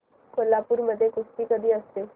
कोल्हापूर मध्ये कुस्ती कधी असते